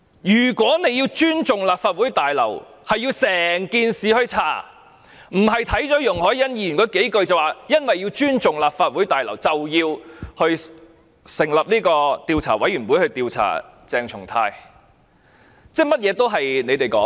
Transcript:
如果要尊重立法會綜合大樓，就要徹查整件事，而不是單看容海恩議員的議案措辭，便說要尊重立法會綜合大樓，所以要成立調查委員會調查鄭松泰議員。